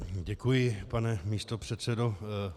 Děkuji, pane místopředsedo.